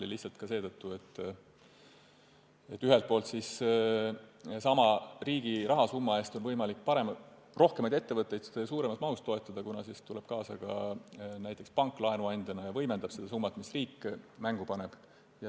Seda lihtsalt seetõttu, et ühelt poolt on niiviisi võimalik sama rahasumma eest toetada rohkemaid ettevõtteid ja suuremas mahus, kuna siis tuleb kaasa ka näiteks pank laenuandjana ja võimendab seda summat, mille riik mängu paneb.